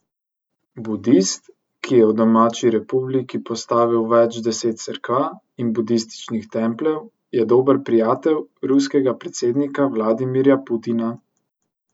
Budist, ki je v domači republiki postavil več deset cerkva in budističnih templjev, je dober prijatelj ruskega predsednika Vladimirja Putina.